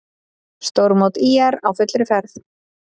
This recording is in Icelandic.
Stórmót ÍR á fullri ferð